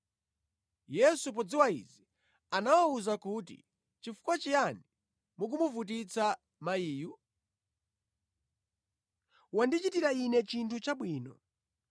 Yesu podziwa izi anawawuza kuti, “Chifukwa chiyani mukumuvutitsa mayiyu? Wandichitira Ine chinthu chabwino.